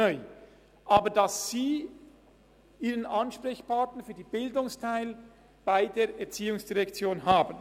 Sondern es bedeutet, dass sie für den Bildungsteil ihren Ansprechpartner bei der ERZ haben.